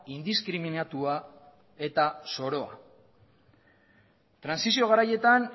indiskriminatua eta zoroa trantsizio garaietan